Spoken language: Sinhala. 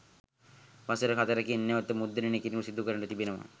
වසර හතරකින් නැවත මුද්‍රණය කිරීමක් සිදුකර තිබෙනවා.